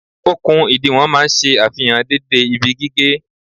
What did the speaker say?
Okùn ìdiwọ̀n máa ń ṣe àfihàn dédé ibi gígé